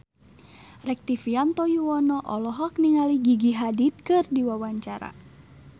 Rektivianto Yoewono olohok ningali Gigi Hadid keur diwawancara